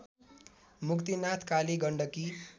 Muktinath Kali Gandaki